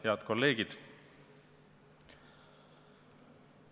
Head kolleegid!